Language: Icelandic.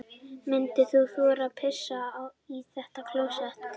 Myndir þú þora að pissa í þetta klósett?